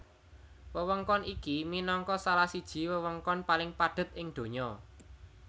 Wewengkon iki minangka salah siji wewengkon paling padhet ing donya